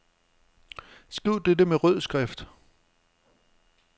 Skriv dette med rød skrift.